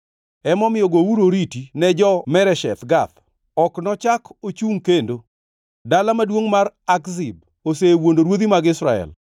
Emomiyo gouru oriti ne jo-Meresheth Gath, ok nochak ochungʼ kendo. Dala maduongʼ mar Akzib osewuondo ruodhi mag Israel.